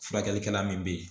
Furakɛlikɛla min be yen